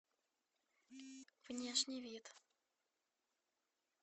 внешний вид